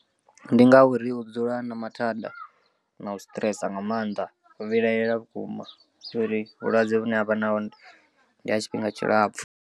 Ndi ngauri u dzula a na mathanda na u stress nga maanḓa u vhilahela vhukuma nga uri vhulwadze vhune avha na hone ndi ha tshifhinga tshilapfhu.